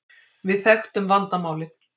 Við þekktum vandamálið.